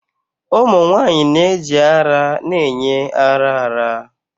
Ụmụ nwanyị na-eji ara na-enye ara ara.